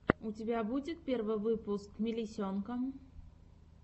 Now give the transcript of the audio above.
у тебя будет первый выпуск мелисенка